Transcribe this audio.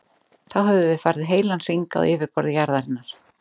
Þá höfum við farið heilan hring á yfirborði jarðarinnar.